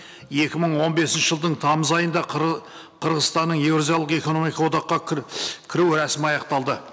екі мың он бесінші жылдың тамыз айында қырғызстанның еуразиялық экономикалық одаққа кіру рәсімі аяқталды